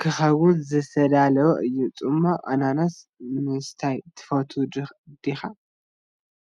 ክኸውን ዝተዳለወ እዩ። ጽማቝ ኣናናስ ምስታይ ትፈቱ ዲኻ?